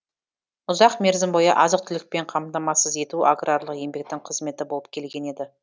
ұзақ мерзім бойы азық түлікпен қамтамасыз ету аграрлық еңбектің қызметі болып келген еді